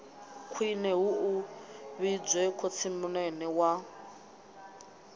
khwine hu vhidzwe khotsimunene wa